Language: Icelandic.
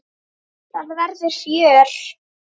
Það verður fjör.